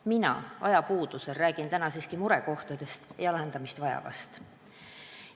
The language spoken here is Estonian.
Mina räägin ajapuudusel täna siiski vaid murekohtadest ja lahendamist vajavast.